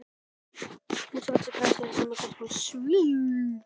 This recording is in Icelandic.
Hann sló rakspíra á kinnarnar og setti plötu á fóninn.